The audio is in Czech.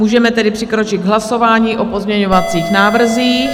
Můžeme tedy přikročit k hlasování o pozměňovacích návrzích.